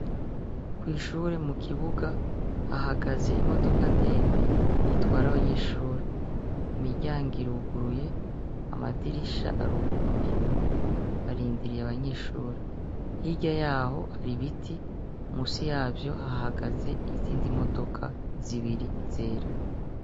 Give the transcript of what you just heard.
Kwi shure mu kibuga hahagaze imodoka ndende itwara abanyeshure imiryango iruguruye, amadirisha aruguye, arindiriye abanyeshure hariya yaho hari ibiti munsi yavyo hahagaze izindi modoka zibiri zera.